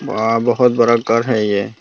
वहां बहुत बड़ा घर है ये।